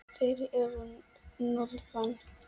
Þeir eru að norðan.